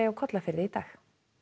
á Kollafirði í dag